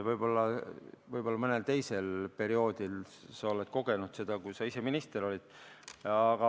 Võib-olla mõnel teisel perioodil sa oled seda kogenud, kui sa ise minister olid.